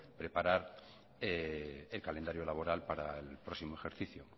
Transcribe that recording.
preparar el calendario laboral para el próximo ejercicio